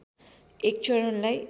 एक चरणलाई